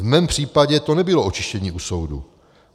V mém případě to nebylo očištění u soudu.